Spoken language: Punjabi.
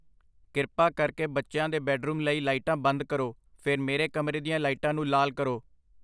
ਕਿਰਪਾ ਕਰਕੇ ਬੱਚਿਆਂ ਦੇ ਬੈਡਰੂਮ ਲਈ ਲਾਈਟਾਂ ਬੰਦ ਕਰੋ, ਫਿਰ ਮੇਰੇ ਕਮਰੇ ਦੀਆਂ ਲਾਈਟਾਂ ਨੂੰ ਲਾਲ ਕਰੋ